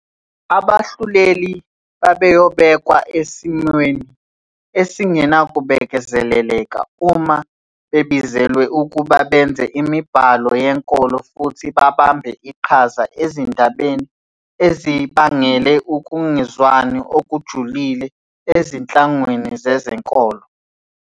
Abahluleli babeyobekwa esimweni esingenakubekezeleleka uma bebizelwe ukuba benze imibhalo yenkolo futhi babambe iqhaza ezindabeni ezibangele ukungezwani okujulile ezinhlanganweni zezenkolo.